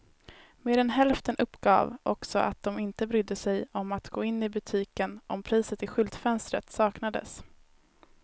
Mer än hälften uppgav också att de inte brydde sig om att gå in i butiken om priset i skyltfönstret saknades.